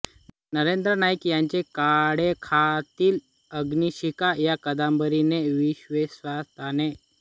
नरेंद्र नाईक यांच्या काळोखातील अग्निशिखा या कादंबरीने विशेश्वाताने